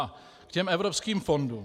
A k těm evropským fondům.